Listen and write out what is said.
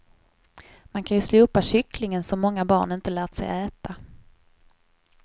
Man kan ju slopa kycklingen som många barn inte lärt sig äta.